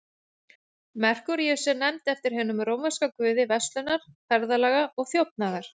Merkúríus er nefnd eftir hinum rómverska guði verslunar, ferðalaga og þjófnaðar.